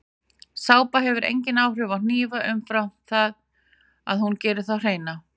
Sápa hefur engin áhrif á hnífa umfram þau að hún gerir þá hreina.